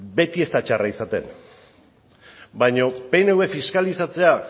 beti ez da txarra izaten baina pnv fiskalizatzea